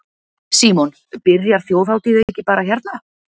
Símon: Byrjar Þjóðhátíð ekki bara hérna?